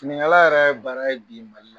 finikala yɛrɛ ye baara ye bi Mali la